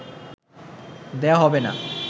দেয়া হবে না